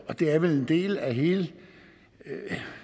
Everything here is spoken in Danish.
det er vel en del af hele den